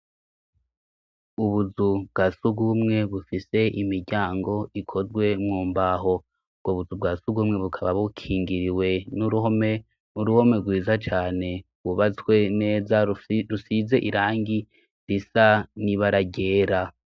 Ubuzu bwa suguumwe, bufise imiryango ikozwe mumbaho, ubwo buzu bwa sugumwe bukaba bukingiriwe n'uruhome, n'uruhome rwiza cane rwubatswe neza, rusize irangi risa n'ibara ryera.